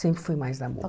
Sempre fui mais da